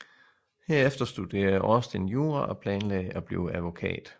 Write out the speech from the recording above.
Herefter studerede Austin jura og planlagde at blive advokat